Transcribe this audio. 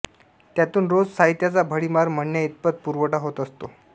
त्यातून रोज साहित्याचा भडीमार म्हणण्याइतपत पुरवठा होत असतो